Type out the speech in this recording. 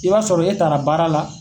I b'a sɔrɔ e taara baara la.